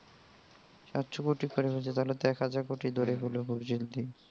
সাতশো কোটি পার হইছে তাহলে তো এক হাজার কোটি ধরেই ফেলবে খুব জলদি.